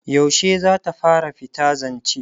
yaushe zata fara fita zance?